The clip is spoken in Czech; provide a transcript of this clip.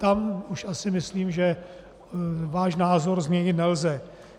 Tam už asi myslím, že váš názor změnit nelze.